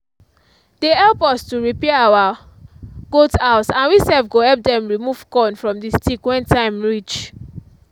they help us to repair our goat house and we sef go help them remove corn from the stick when time reach